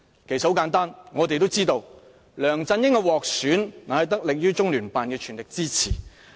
其實很簡單，我們都知道梁振英獲選，是得力於中聯辦的全力支持。